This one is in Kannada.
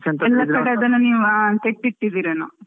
ಎಲ್ಲಾ ಕಡೆ ಅದನ್ನಆ ನೀವು ತೆಗೆದಿಟ್ಟಿದ್ದೀರೆನೋ?